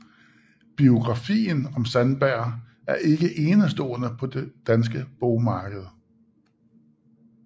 Biografien om Sandberg er ikke enestående på det danske bogmarked